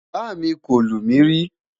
bá mí kò lumi ri